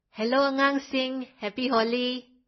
Hello ꯑꯉꯥꯡꯁꯤꯡ happy Holi!